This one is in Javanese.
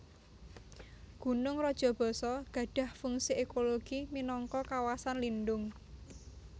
Gunung Rajabasa gadhah fungsi ekologi minangka kawasan lindhung